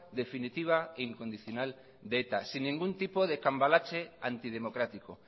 definitiva e incondicional de eta sin ningún tipo de cambalache antidemocrático